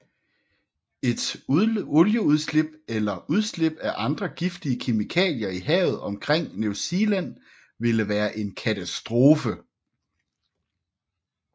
Et olieudslip eller udslip af andre giftige kemikalier i havet omkring New Zealand ville være en katastrofe